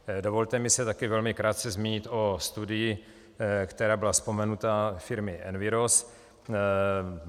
Dovolte mi se také velmi krátce zmínit o studii, která byla vzpomenuta, firmy Enviros.